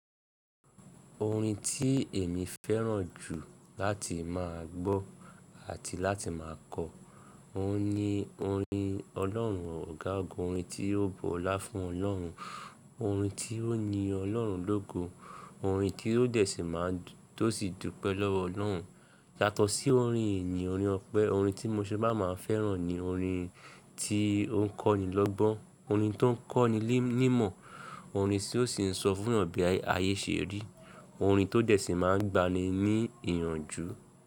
Orin tí èmi fẹ́ràn jù láti má a gbọ́ àti láti má a kọ, òun ni orin Ọlọ́run ọ̀gágun, orin tí ó bọ́lá fún Ọlọ́run, orin tí ó yin Ọlọ́run lógo, orin tí ó dé sí má a tòsí dúpẹ́ lọ́wọ́ Ọlọ́run. Yátọ sí orin ìyìn, orin ọpẹ́, orin tí mo ṣabá má a fẹ́ràn ni orin tí ó ń kọ́ni lọ́gbọ́n, orin tó ń kọ́ni nímọ̀, orin tí ó sì ń sọ fún eeyan bí ayé ṣe rí, orin tó dé sí má a gba ni ní ìyànjú.